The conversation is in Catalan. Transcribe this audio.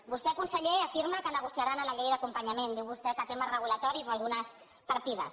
vostè conseller afirma que negociarà en la llei d’acompanyament diu vostè que temes reguladors o algunes partides